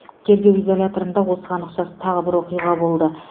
тергеу изоляторында осыған ұқсас тағы бір оқиға болды